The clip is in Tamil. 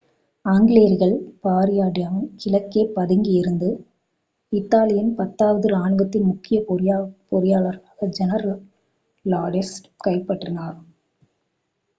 ஆங்கிலேயர்கள் பார்டியாவின் கிழக்கே பதுங்கியிருந்து இத்தாலியின் பத்தாவது இராணுவத்தின் முக்கிய பொறியாளராகிய ஜெனரல் லாஸ்டுச்சியைக் கைப்பற்றினர்